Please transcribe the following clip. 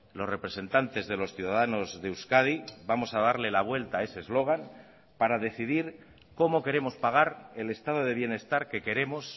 los representantes de los ciudadanos de euskadi vamos a darle la vuelta a ese eslogan para decidir cómo queremos pagar el estado de bienestar que queremos